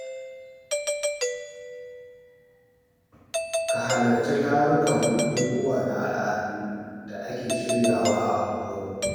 Ka halarci tarukan bukukuwa na al'adu da ake shiryawa a unguwarku.